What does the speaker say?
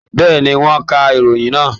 Bẹ́ẹ̀ni, wọ́n ka ìròyìn náà.